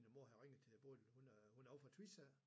Min mor havde ringet til Bodil hun er ovre fra Tvis af